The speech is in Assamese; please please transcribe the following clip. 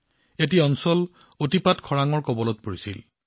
এই অঞ্চলটো বেছিভাগেই খৰাং পৰিস্থিতিৰ প্ৰৱণ